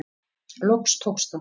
Loks tókst það.